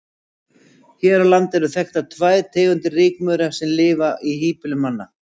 Hér á landi eru þekktar tvær tegundir rykmaura sem lifa í híbýlum manna.